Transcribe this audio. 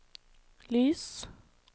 lys